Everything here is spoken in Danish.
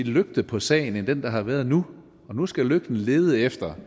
lygte på sagen end den der har været nu nu skal lygten lede efter